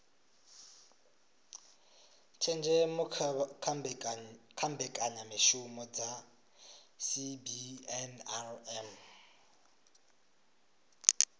tshenzhemo kha mbekanyamishumo dza cbnrm